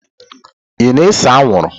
Ị na-ese anwụrụ?